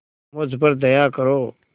मुझ पर दया करो